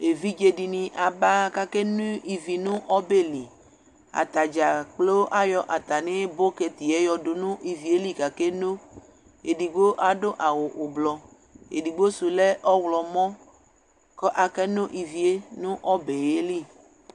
Evidze dɩnɩ aba kʋ akeno ivi nʋ ɔbɛ li, atadza gblo ayɔ atamɩ bɔtɩtɩ yɛ yɔdʋ nʋ ivi yɛ li kʋ akeno, edigbo adʋ awʋ ʋblɔ, edigbo sʋ lɛ ɔɣlɔmɔ kʋ akeno ivi yɛ nʋ ɔbɛ yɛ li